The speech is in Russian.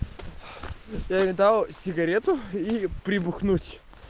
я ей дал сигарету и прибухнуть